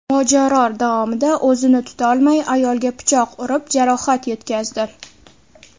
Mojaro davomida o‘zini tutolmay, ayolga pichoq urib, jarohat yetkazdi.